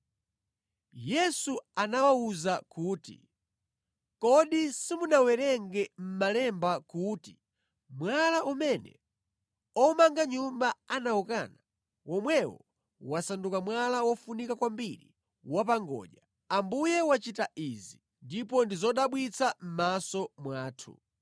Yesu anawawuza kuti, “Kodi simunawerenge mʼmalemba kuti: “ ‘Mwala umene omanga nyumba anawukana, womwewo wasanduka mwala wofunika kwambiri wa pa ngodya. Ambuye wachita izi, ndipo ndi zodabwitsa mʼmaso mwathu.’